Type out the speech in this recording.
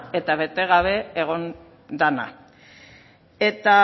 eta bete gabe egon dena eta